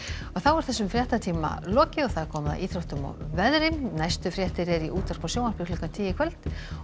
þessum fréttatíma lokið og komið að íþróttum og veðri næstu fréttir eru í útvarpi og sjónvarpi klukkan tíu í kvöld og